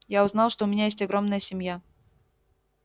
я узнал что у меня есть огромная семья